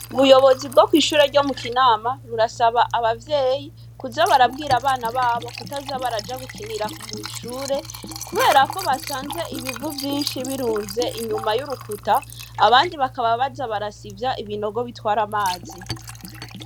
Ubuyobozi bwo kw'ishure ryo mu Kinama, burasaba abavyeyi kuza barabwira abana babo kutaza baraja gukinira kw'ishure kubera ko basanze ibivu vyinshi birunze inyuma y'urukuta, abandi bakaba baza barasivya ibinogo bitwara amazi.